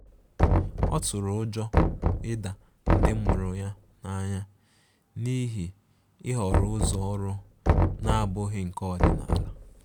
Ọ tụrụ ụjọ ịda ndi mụrụ ya n'anya n'ihi ihọrọ ụzọ ọrụ na-abụghị nke ọdịnala.